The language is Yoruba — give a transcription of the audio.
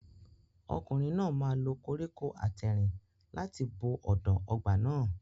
Ọkùnrin náà máa lo koríko àtẹ̀rìn láti bo ọ̀dàn ọgbà náà.